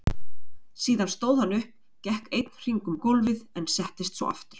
Síðan stóð hann upp, gekk einn hring um gólfið en settist svo aftur.